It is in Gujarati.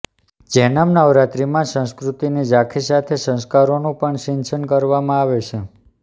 જૈનમ નવરાત્રીમાં સંસ્કૃતિની ઝાંખી સાથે સંસ્કારોનું પણ સિંચન કરવામાં આવે છે